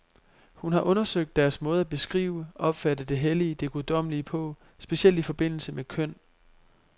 Hun har undersøgt deres måde at beskrive, opfatte det hellige, det guddommelige på, specielt i forbindelse med køn.